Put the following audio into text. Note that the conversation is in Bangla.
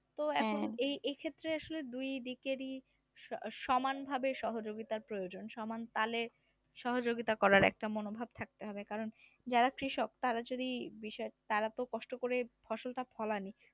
এই এই ক্ষেত্রে আসলে দুই দিকেরই স সমানভাবে সহযোগিতা প্রয়োজন সমান তালে সহযোগিতা করার একটা মনোভাব থাকতে হবে কারন যারা কৃষক তারা যদি তারা তো কষ্ট করে ফসলটা ফলান